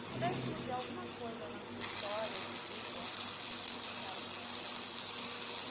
Se pudesse mudar alguma coisa na tua história de vida, o que que a senhora mudaria?